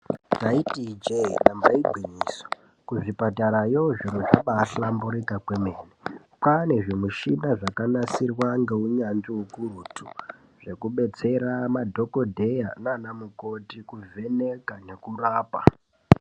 Ndaiti ijeee apa igwinyiso kuzvipatarayo zviro zvambaahlamburika kwemene kwaane zvimuchina zvakanasirwa ngeunyanzvi ukurutu zvekubetsera madhokodheya nanamukoti kuvheneka nekurapa .